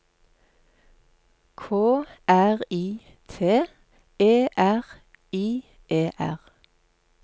K R I T E R I E R